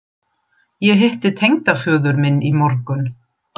Ég hitti tengdaföður minn í morgun